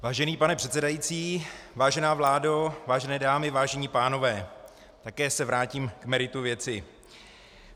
Vážený pane předsedající, vážená vládo, vážené dámy, vážení pánové, také se vrátím k meritu věci.